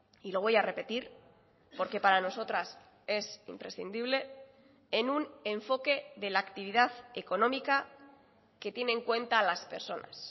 y lo voy a repetir porque para nosotras es imprescindible en un enfoque de la actividad económica que tiene en cuenta a las personas